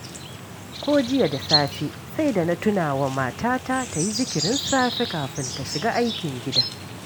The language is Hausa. Ko jiya da safe sai da na tuna wa matata ta yi zikirin safe kafin ta shiga aikin gida